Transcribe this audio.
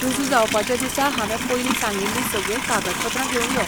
रुजू जावपाच्या दिसा हांवें पयलीं सांगिल्ली सगळी कागदपत्रां घेवन यो.